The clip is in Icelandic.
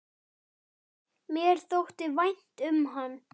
Mér þótti vænt um hann.